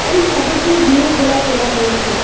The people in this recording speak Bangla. এই ফটোটি দিনের বেলা তোলা হয়েছে।